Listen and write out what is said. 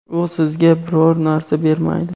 u sizga biror narsa bermaydi.